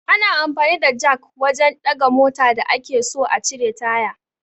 Ana amfani da jak wajan ɗaga mota da ake so a cire taya